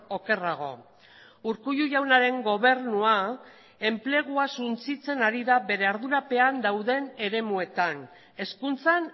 okerrago urkullu jaunaren gobernua enplegua suntsitzen ari da bere ardurapean dauden eremuetan hezkuntzan